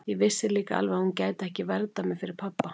Ég vissi líka alveg að hún gæti ekki verndað mig fyrir pabba.